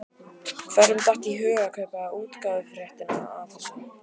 Hverjum datt í hug að kaupa útgáfuréttinn að þessu?